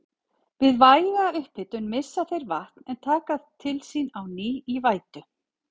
Við væga upphitun missa þeir vatn en taka það til sín á ný í vætu.